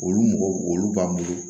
Olu mɔgɔ olu b'an bolo